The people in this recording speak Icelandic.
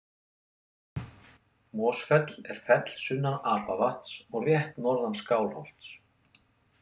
Mosfell er fell sunnan Apavatns og rétt norðan Skálholts.